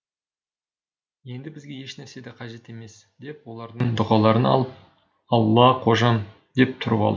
енді бізге ешнәрсе де қажет емес деп олардың дұғаларын алып алла қожам деп тұрып алды